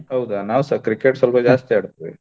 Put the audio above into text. ಹೌದಾ ನಾವ್ ಸ Cricket ಸೊಲ್ಪ ಜಾಸ್ತಿ ಆಡ್ತಿವಿ.